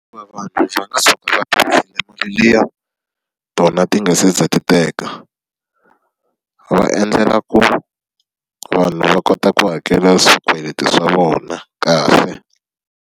vanhu liya tona ti nga se za ti teka. Va endlela ku vanhu va kota ku hakela swikweleti swa vona kahle.